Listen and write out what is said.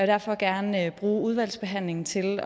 derfor gerne bruge udvalgsbehandlingen til